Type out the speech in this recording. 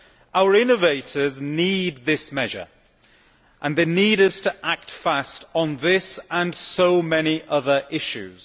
Our innovators need this measure, and they need us to act fast on this and so many other issues.